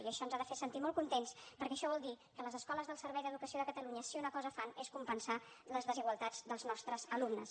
i això ens ha de fer sentir molt contents perquè això vol dir que les escoles del servei d’educació de catalunya si una cosa fan és compensar les desigualtats dels nostres alumnes